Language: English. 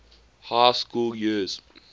high school years